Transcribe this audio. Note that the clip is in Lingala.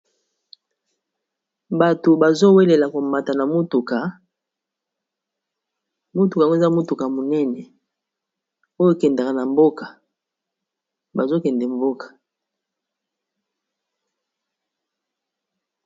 Bato bazowelela komata na mutuka mutuka oyo eza mutuka monene oyo kendaka na mboka bazokende mboka.